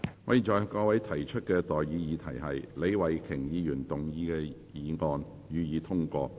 我現在向各位提出的待議議題是：李慧琼議員動議的議案，予以通過。